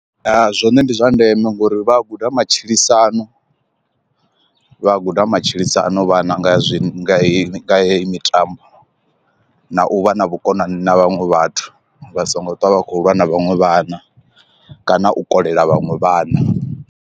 Ya zwone ndi zwa ndeme ngori vha a guda matshilisano vha guda matshilisano vhana nga zwi hei heyi mitambo na u vha na vhukonani na vhanwe vhathu vha songo ṱwa vha khou lwa na vhaṅwe vhana kana u kolela vhaṅwe vhana.